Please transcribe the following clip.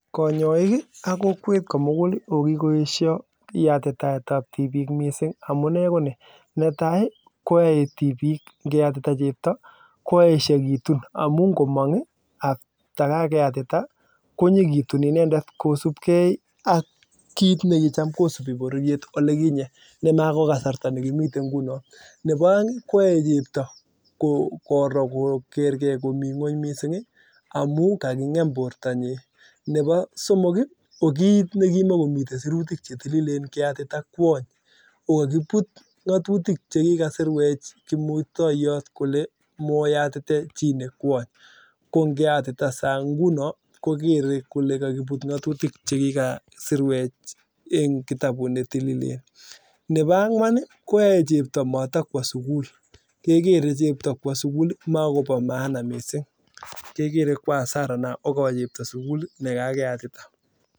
konyoik ii ak kokwet komuguli koki koesho yatitoetab tibik mising amune koni netai koyoe tibik ngeyatita chebto koeshe kitun amun ngomong ii afta kakeyatita konyo kitun inendet kosupkei ak kinekitam kosubi bororiet olikinye nemekokasrta nekimiten ngunon nebo oeng koyoe chebto koro koker kee komi ngweny missing amun kakingem bortanyin nebo somoki kokimokomiten sirituk che tililen keyatita kwony kokokibut ngotutik che kikasirwech kimurtoyot kole moyatite chi ne kwony kongeyatita ngunon kokere kole kokibut ngotutik chekikasirwech en kitabut netilil nepo angwn koyoe chebto motokwo sugul kekere chebto kwo suguli mobo mana mising kekre ko asara nea kwo sugul chebo ne kakeyatita